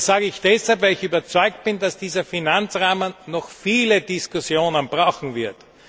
Das sage ich deshalb, weil ich überzeugt bin, dass dieser Finanzrahmen noch viele Diskussionen brauchen wird.